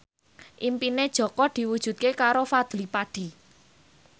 impine Jaka diwujudke karo Fadly Padi